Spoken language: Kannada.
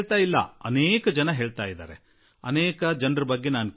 ಅನೇಕರು ಈ ರೀತಿ ಹೇಳುವವರಿದ್ದಾರೆ ಮತ್ತು ನಾನು ಅನೇಕರಿಂದ ಅನೇಕ ಸಲ ಕೇಳಿರುವೆ